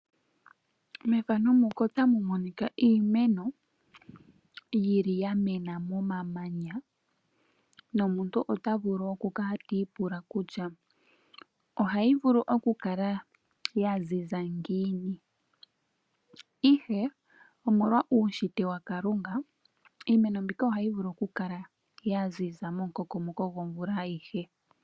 Mefano muka otamu monika iimeno yili yamena momamanya. Nomuntu ota vulu oku kala ti ipula kutya ohayi vulu oku kala ya ziza ngiini? Ihe omolwa uushitwe waKalunga. Iimeno mbika ohayi vulu oku kala yaziza momukokomoko gomvula ayihe.